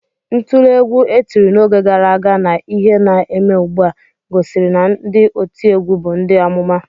Ntule egwu e tiri n'oge gara aga na ihe na-eme ugbu a, gosiri na ndị otiegwu bụ ndị amụma